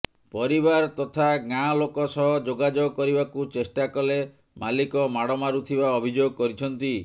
ପରିବାର ତଥା ଗାଁ ଲୋକ ସହ ଯୋଗାଯୋଗ କରିବାକୁ ଚେଷ୍ଟା କଲେ ମାଲିକ ମାଡ ମାରୁଥିବା ଅଭିଯୋଗ କରିଛନ୍ତି